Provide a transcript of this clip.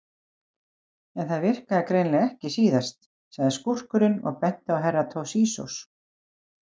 En það virkaði greinilega ekki síðast, sagði skúrkurinn og benti á Herra Toshizo.